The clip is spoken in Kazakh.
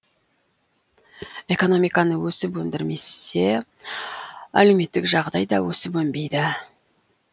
экономиканы өсіп өндірмесе әлеуметтік жағдай да өсіп өнбейді